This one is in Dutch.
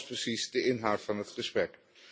En wat was precies de inhoud van het gesprek?